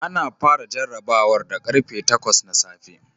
Ana fara jarrabawar da karfe 8 na safe